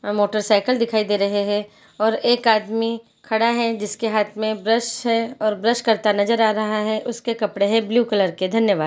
यहाँ मोटरसाइकिल दिखाई दे रहे हैं और एक आदमी खड़ा है जिसके हाथ में ब्रश है और ब्रश करता नज़र आ रहा है और उसके कपड़े ब्लू कलर के धन्यवाद--